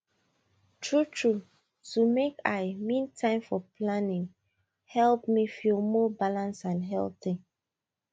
truetrue to make i mean time for time planning help me feel more balanced and healthy